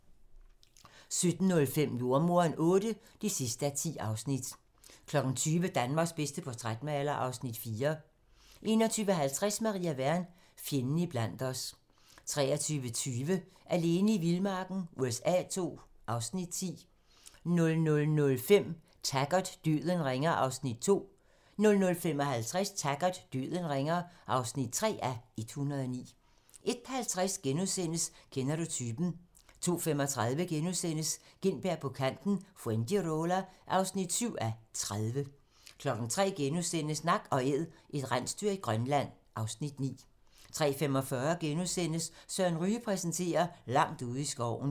17:05: Jordemoderen VIII (10:10) 20:00: Danmarks bedste portrætmaler (Afs. 4) 21:50: Maria Wern: Fjenden iblandt os 23:20: Alene i vildmarken USA II (Afs. 10) 00:05: Taggart: Døden ringer (2:109) 00:55: Taggart: Døden ringer (3:109) 01:50: Kender du typen? * 02:35: Gintberg på Kanten - Fuengirola (7:30)* 03:00: Nak & Æd - et rensdyr i Grønland (Afs. 9)* 03:45: Søren Ryge præsenterer - Langt ude i skoven *